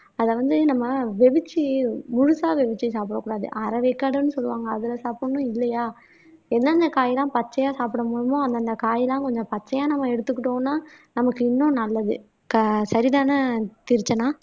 அத வந்து நம்ம வெவிச்சு முழுசா வெவிச்சு சாப்பிடக் கூடாது அரை வேக்காடுன்னு சொல்லுவாங்க அதுல சாப்பிடணும் இல்லையா என்னென்ன காய் எல்லாம் பச்சையா சாப்பிட முடியுமோ அந்தந்த காயெல்லாம் கொஞ்சம் பச்சையா நம்ம எடுத்துக்கிட்டோம்ன்னா நமக்கு இன்னும் நல்லது கா சரிதான தீக்ஷனா